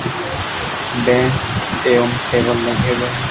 Bench एवं table लगे हुए हैं।